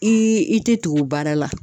I i te tugu baara la